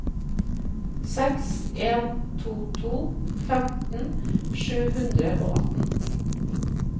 seks en to to femten sju hundre og atten